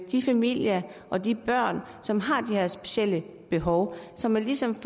de familier og de børn som har de her specielle behov så man ligesom